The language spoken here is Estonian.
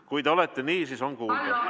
Kui te olete nii, siis on kuulda.